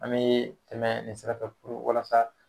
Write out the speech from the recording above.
An me tɛmɛ nin sira fɛ puru walasa